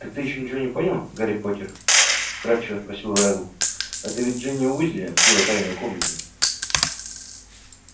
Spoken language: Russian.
так ты ещё ничего не понял гарри поттер вкрадчиво спросил реддл это ведь джинни уизли открыла тайную комнату